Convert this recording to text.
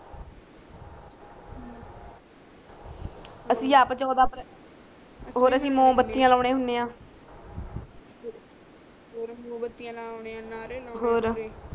ਅਸੀਂ ਆਪ ਚੋਦਾ ਅਪ੍ਰੈਲ ਔਰ ਅਸੀਂ ਮੋਮਬੱਤੀਆਂ ਲੌਂਦੇ ਹੁੰਦੇ ਆ ਔਰ ਮੋਮਬੱਤੀਆਂ ਲਾ ਹੁੰਦੇ ਆ ਨਾਰੇ ਲਾ ਹੁੰਦੇ